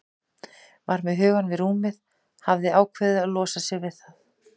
Var með hugann við rúmið, hafði ákveðið að losa sig við það.